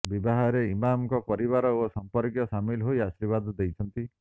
ବିବାହରେ ଇମାମଙ୍କ ପରିବାର ଓ ସଂପର୍କୀୟ ସାମିଲ ହୋଇ ଆଶିର୍ବାଦ ଦେଇଛନ୍ତି